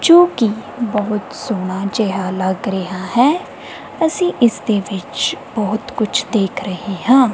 ਜੋ ਕਿ ਬਹੁਤ ਸੋਹਣਾ ਜਿਹਾ ਲੱਗ ਰਿਹਾ ਹੈ ਅਸੀਂ ਇਸ ਦੇ ਵਿੱਚ ਬਹੁਤ ਕੁਝ ਦੇਖ ਰਹੇ ਹਾਂ।